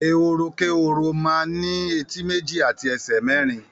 Èhórókéhoro man ni éti meji ati èsè merin